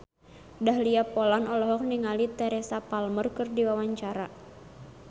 Dahlia Poland olohok ningali Teresa Palmer keur diwawancara